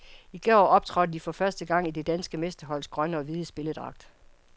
I går optrådte de for første gang i det danske mesterholds grønne og hvide spilledragt.